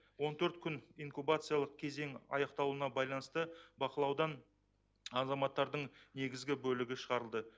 он төрт күн инкубациялық кезең аяқталуына байланысты бақылаудан азаматтардың негізгі бөлігі шығарылды